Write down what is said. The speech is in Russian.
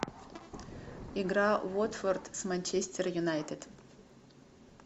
игра уотфорд с манчестер юнайтед